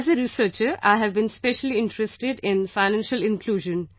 As a researcher, I have been specially interested in Financial Inclusion